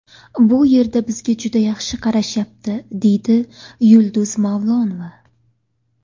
Bu yerda bizga juda yaxshi qarashyapti”, deydi Yulduz Mavlonova.